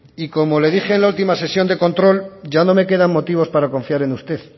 y como le dije en la última sesión de control ya no me quedan motivos para confiar en usted